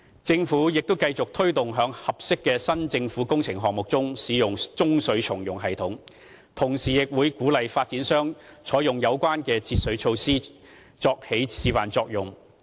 政府亦繼續推動在合適的政府新工程項目中，使用中水重用系統，同時亦為鼓勵發展商採用有關的節水措施，以起示範作用。